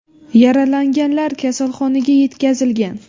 Yaralanganlar kasalxonaga yetkazilgan.